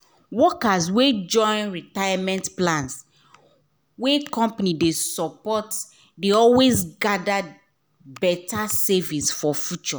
workers wey join retirement plans wey company dey support dey always gather better savings for future.